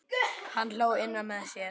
Hann hló innra með sér.